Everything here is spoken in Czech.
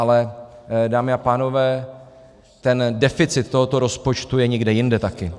Ale, dámy a pánové, ten deficit tohoto rozpočtu je někde jinde taky.